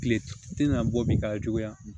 Kile tɛ na bɔ min ka juguya